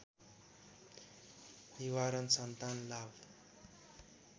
निवारण सन्तान लाभ